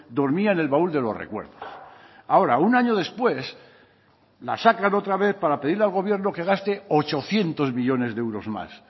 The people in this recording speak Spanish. dormía en el baúl de los recuerdos ahora un año después la sacan otra vez para pedirle al gobierno que gaste ochocientos millónes de euros más